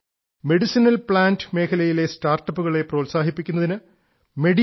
medicinal plant മേഖലയിലെ സ്റ്റാർട്ടപ്പുകൾ പ്രോത്സാഹിപ്പിക്കുന്നതിന് മെഡിഹബ് ടി